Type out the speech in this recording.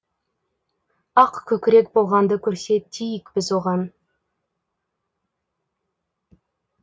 ақ көкірек болғанды көрсетейік біз оған